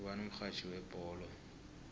ngubani umxhatjhi webholo